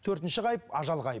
төртінші ғайып ажал ғайып